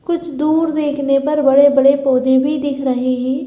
कुछ दूर देखने पर बड़े बड़े पौधे भी दिख रहे हैं।